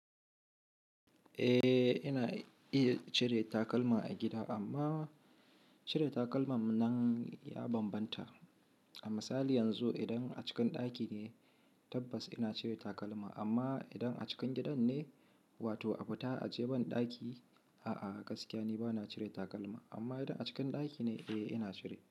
Eh, ina iya cire takalma a gida amma cire takalma nan ya bambanta. A misali yanzu idan a cikin ɗaki ne tabbas ina cire takalma amma idan a cikin gidan ne wato a fita a je ban ɗaki, a'a gaskiya ni bana cire takalma. Amma idan a cikin ɗaki ne eh ina cire.